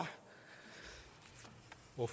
af